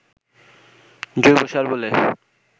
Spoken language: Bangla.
জৈবসার বলে